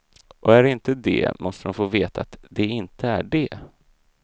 Och är de inte det måste de få veta att de inte är det.